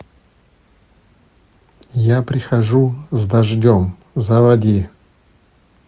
я прихожу с дождем заводи